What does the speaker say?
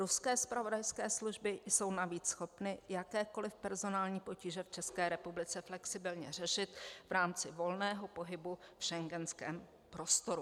Ruské zpravodajské služby jsou navíc schopny jakékoliv personální potíže v České republice flexibilně řešit v rámci volného pohybu v schengenském prostoru.